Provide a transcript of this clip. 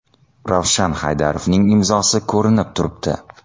Ravshan Haydarovning imzosi ko‘rinib turibdi.